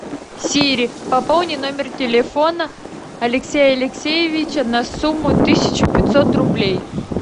сири пополни номер телефона алексея алексеевича на сумму тысяча пятьсот рублей